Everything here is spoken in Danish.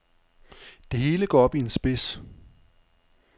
Det hele går op i en spids.